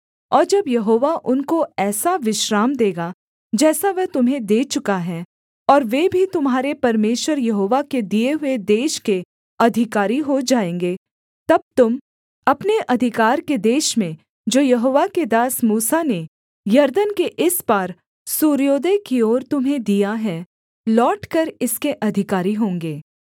और जब यहोवा उनको ऐसा विश्राम देगा जैसा वह तुम्हें दे चुका है और वे भी तुम्हारे परमेश्वर यहोवा के दिए हुए देश के अधिकारी हो जाएँगे तब तुम अपने अधिकार के देश में जो यहोवा के दास मूसा ने यरदन के इस पार सूर्योदय की ओर तुम्हें दिया है लौटकर इसके अधिकारी होंगे